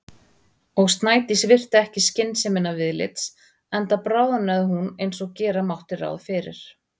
Og Snædís virti ekki skynsemina viðlits- enda bráðnaði hún eins og gera mátti ráð fyrir.